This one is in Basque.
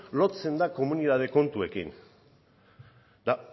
lotzen da komunitate kontuekin eta